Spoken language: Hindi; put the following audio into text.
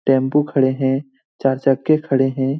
टेंपू खड़े हैं चार-चक्के खड़े हैं।